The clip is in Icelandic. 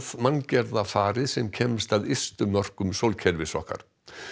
manngerða farið sem kemst að ystu mörkum sólkerfis okkar